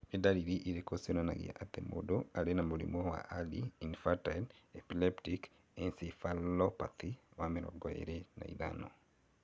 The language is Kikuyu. Nĩ ndariri irĩkũ cionanagia atĩ mũndũ arĩ na mũrimũ wa Early infantile epileptic encephalopathy 25?